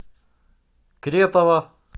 кретова